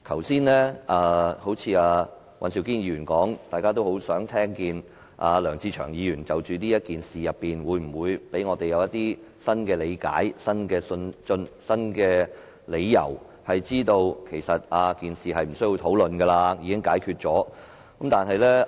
正如尹兆堅議員剛才所說，大家都很想聽見梁志祥議員會否就此事給我們新的理解和理由，令我們知道事情已無需討論，已獲解決。